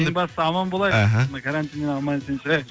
ең бастысы аман болайық іхі мына карантиннен аман есен шығайықшы